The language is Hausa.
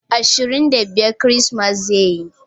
Ashirin da biyar ceramis zai yi